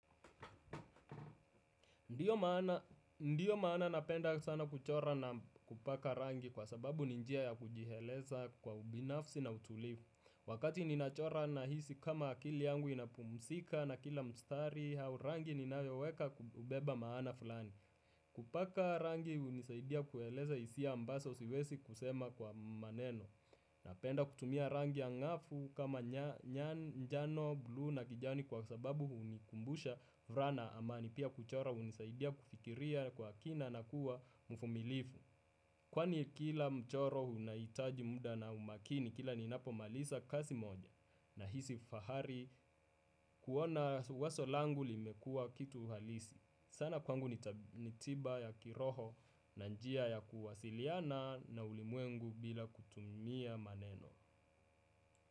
Ndiyo maana napenda sana kuchora na kupaka rangi kwa sababu ni njia ya kujieleza kwa ubinafsi na utulivu. Wakati ninachora nahisi kama akili yangu inapumzika na kila mstari au rangi ninayoweka kubeba maana fulani. Kupaka rangi hunisaidia kueleza hisia ambazo siwezi kusema kwa maneno. Napenda kutumia rangi ya ng'afu kama manjano, buluu na kijani kwa sababu hunikumbusha furaha na amani. Pia kuchora hunisaidia kufikiria kwa kina na kuwa mvumilivu. Kwani kila mchoro unahitaji muda na umakini kila ninapo maliza kazi moja. Nahisi fahari kuona wazo langu limekuwa kitu halisi. Sana kwangu ni tiba ya kiroho na njia ya kuwasiliana na ulimwengu bila kutumia maneno. Muziki.